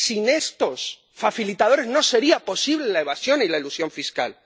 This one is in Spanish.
Sin estos facilitadores no sería posible la evasión y la elusión fiscal.